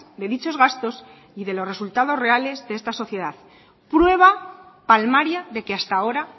de dichos gastos y de los resultados reales de esta sociedad prueba palmaria de que hasta ahora